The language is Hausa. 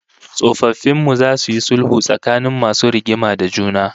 Tsofaffin mu zasu yi sulhu tsakanin masu rigima da juna